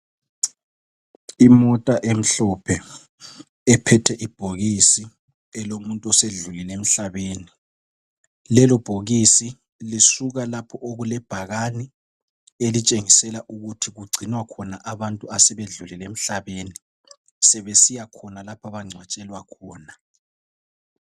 Imota emhlophe ephethe ibhokisi elomuntu osedlulile emhlabeni. Lelobhokisi lisuka lapho okulebhakani elitshengisela ukuthi kugcinwa khona abantu asebedlulile emhlabeni, sebesiya khona lapho abangcwatshelwa khona.